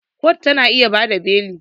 Kotu ta na iya ba da beli